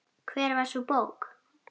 Hver var sú bók?